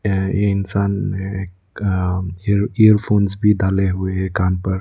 यह एक इंसान एक अ इयरफोंस भी डाले हुए हैं कान पर।